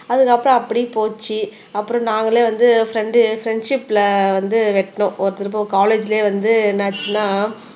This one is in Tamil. அதுக்கப்புறம் அப்படியே போச்சு அப்புறம் நாங்களே வந்து ப்ரெண்ட் ப்ரெண்ட்ஷிப்ல வந்து வெட்டினோம் ஒருத்தருக்கும் காலேஜ்லயே வந்து என்ன ஆச்சுன்னா